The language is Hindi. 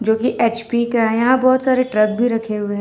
जो कि एच_पी का है यहां बहुत सारे ट्रक भी रखे हुए हैं।